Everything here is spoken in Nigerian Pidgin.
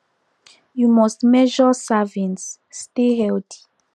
you must measure servings stay healthy